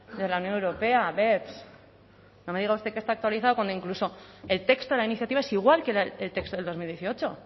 de la unión europea beps no me diga usted que está actualizado cuando incluso el texto de la iniciativa es igual que el texto del dos mil dieciocho